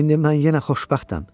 İndi mən yenə xoşbəxtəm.